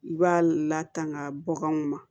I b'a latanga baganw ma